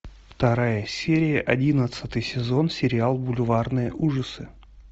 вторая серия одиннадцатый сезон сериал бульварные ужасы